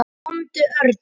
Komdu, Örn.